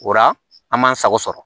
O la an m'an sago sɔrɔ